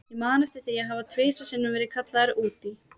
Ég man eftir því að hafa tvisvar sinnum verið kallaður út í